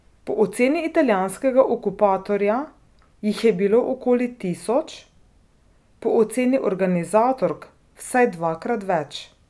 Po oceni italijanskega okupatorja jih je bilo okoli tisoč, po oceni organizatork vsaj dvakrat več.